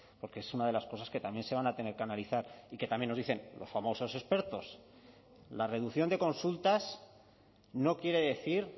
porque es una de las cosas que también se van a tener que analizar y que también nos dicen los famosos expertos la reducción de consultas no quiere decir